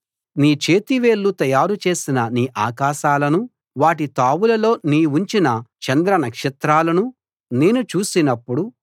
నీ చేతి వేళ్ళు తయారు చేసిన నీ ఆకాశాలనూ వాటి తావులలో నీవుంచిన చంద్రనక్షత్రాలనూ నేను చూసినప్పుడు